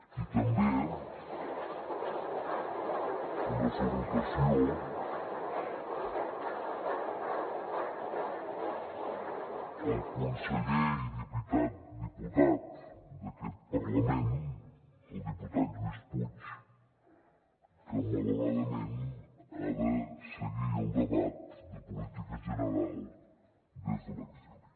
i també una salutació al conseller i diputat d’aquest parlament el diputat lluís puig que malauradament ha de seguir el debat de política general des de l’exili